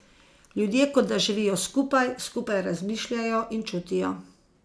Ljudje kot da živijo skupaj, skupaj razmišljajo in čutijo.